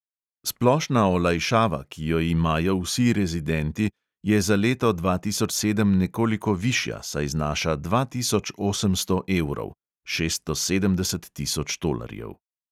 Splošna olajšava, ki jo imajo vsi rezidenti, je za leto dva tisoč sedem nekoliko višja, saj znaša dva tisoč osemsto evrov (šeststo sedemdeset tisoč tolarjev).